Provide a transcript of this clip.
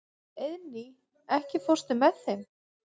Eiðný, ekki fórstu með þeim?